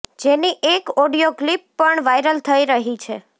જેની એક audio clip પણ વાઇરલ થઇ રહી છે